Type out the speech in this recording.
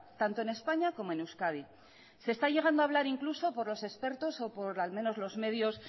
tanto en españa como en euskadi se está llegando a hablar incluso por los expertos o por al menos los medios